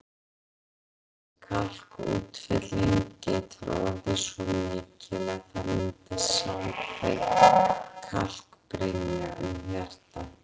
Þessi kalkútfelling getur orðið svo mikil að það myndist samfelld kalkbrynja um hjartað.